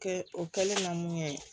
Kɛ o kɛlen ka mun kɛ